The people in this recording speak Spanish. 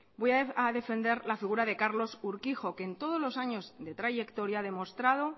voy a defender la figura de carlos urquijo que en todos los años de trayectoria ha demostrado